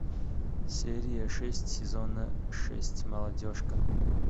серия шесть сезона шесть молодежка